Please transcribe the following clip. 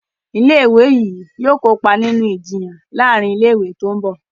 ilé ìwé yí yóò kópa nínú Ìjiyàn láàrin ilé ìwé tó ńbo.